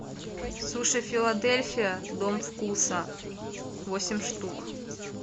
суши филадельфия дом вкуса восемь штук